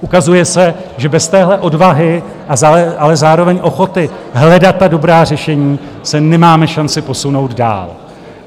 Ukazuje se, že bez téhle odvahy, ale zároveň ochoty hledat ta dobrá řešení, se nemáme šanci posunout dál.